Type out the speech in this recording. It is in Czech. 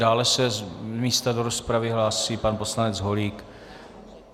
Dále se z místa do rozpravy hlásí pan poslanec Holík.